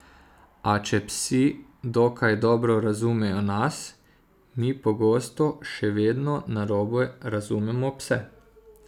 A če psi dokaj dobro razumejo nas, mi pogosto še vedno narobe razumemo pse.